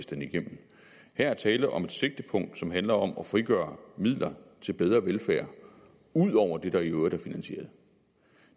den igennem her er tale om et sigtepunkt som handler om at frigøre midler til bedre velfærd ud over det der i øvrigt er finansieret